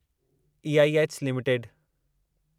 EIH limited